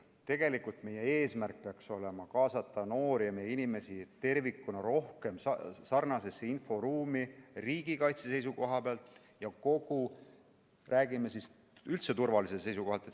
Tegelikult peaks meie eesmärk olema kaasata noori inimesi tervikuna rohkem sarnasesse inforuumi riigikaitse seisukohalt ja üldse turvalisuse seisukohalt.